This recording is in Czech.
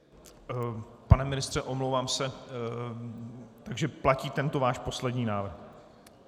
Pane ministře, omlouvám se, takže platí tento váš poslední návrh.